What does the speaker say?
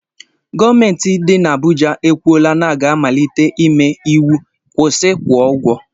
Gọọmenti nke dị na Abuja ekwuola na aga amalite ime íwú 'kwusi kwụọ ụgwọ '